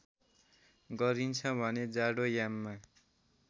गरिन्छ भने जाडोयाममा